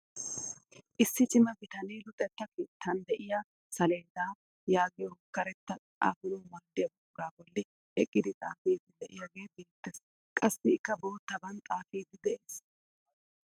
Issi cima bitanee luxetta keettaan de'iyaa saleeda yaagiyoo karetta xaafanawu maaddiyaa buquraa bolli eqqidi xaafiidi de'iyaagee beettees. qassi ikka boottaban xaafiidi de'ees.